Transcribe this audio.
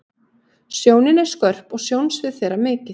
sjónin er skörp og sjónsvið þeirra mikið